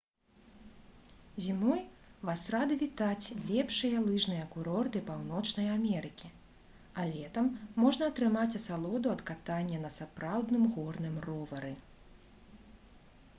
зімой вас рады вітаць лепшыя лыжныя курорты паўночнай амерыкі а летам можна атрымаць асалоду ад катання на сапраўдным горным ровары